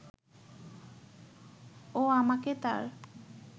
ও আমাকে তার